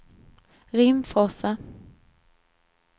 Rimforsa